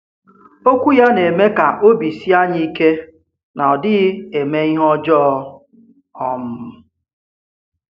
Òkwù ya na-eme kà òbì síe anyị ìke na ọ̀ dịghị eme ihe ọjọọ. um